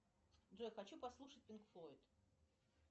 джой хочу послушать пинк флойд